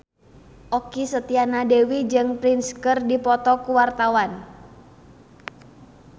Okky Setiana Dewi jeung Prince keur dipoto ku wartawan